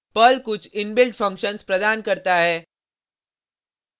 Perl कुछ inbuilt functions प्रदान करता है